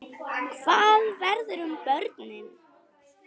Hvað verður um börnin?